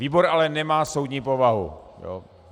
Výbor ale nemá soudní povahu.